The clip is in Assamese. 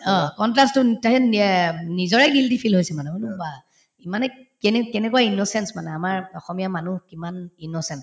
অ, contrast তো তাৰপিছত উম নিজৰে guilty feel হৈছিল মানে মই বোলো বাহ্ কেনে কেনেকুৱা innocence মানে আমাৰ অসমীয়া মানুহ কিমান innocent